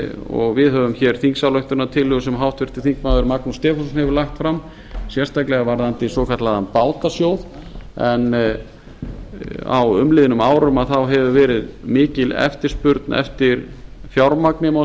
og við höfum þingsályktunartillögu sem háttvirtur þingmaður magnús stefánsson hefur lagt fram sérstaklega varðandi svokallaðan bátasjóð en á umliðnum árum hefur verið mikil eftirspurn eftir fjármagni má